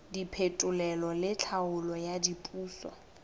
diphetolelo le tlhaolo ya diphoso